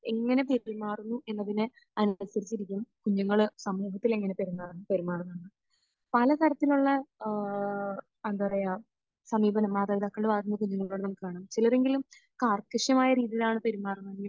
എങ്ങനെ പെരുമാറുന്നു എന്നതിനെ അനുസരിച്ചിരിക്കും കുഞ്ഞുങ്ങൾ സമൂഹത്തിൽ എങ്ങനെ പെരുമാ...പെരുമാറുന്നെന്നത്. പല തരത്തിലുള്ള ആഹ് എന്താ പറയാ, സമീപനം മാതാപിതാക്കളുടെ ഭാഗത്ത് നിന്ന് കുഞ്ഞുങ്ങളോട് നമുക്ക് കാണാം. ചിലരെങ്കിലും കാർക്കശ്യമായ രീതിയിലാണ് പെരുമാറുന്നതെങ്കിൽ